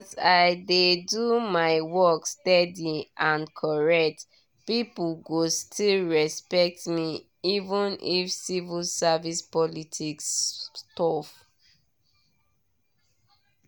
as i dey do my work steady and correct people go still respect me even if civil service politics tough.